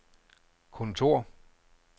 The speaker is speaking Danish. kontor